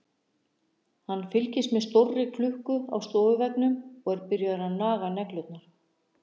Hann fylgist með stórri klukku á stofuveggnum og er byrjaður að naga neglurnar.